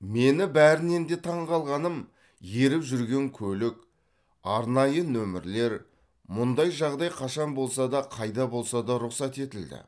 мені бәрінен де таңғалғаным еріп жүрген көлік арнайы нөмірлер мұндай жағдай қашан болса да қайда болса да рұқсат етілді